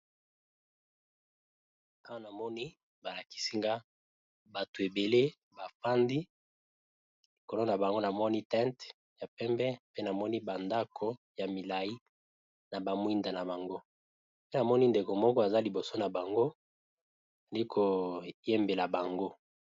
Awa namoni balakisi nga bato ebele bafandi likolo na bango na moni tente ya pembe pe namoni bandako ya milayi, na bamwinda na bango pe namoni ndeke moko aza liboso na bango, ezalii kodyembela bango.